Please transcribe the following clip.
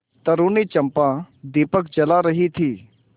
तरूणी चंपा दीपक जला रही थी